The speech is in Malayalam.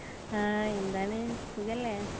ആ എന്താണ് സുഖലേ